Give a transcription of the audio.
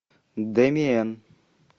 дэмиен